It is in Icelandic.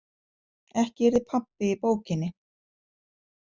Ekki yrði pabbi í bókinni.